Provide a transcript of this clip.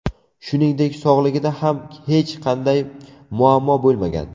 Shuningdek, sog‘ligida ham hech qanday muammo bo‘lmagan.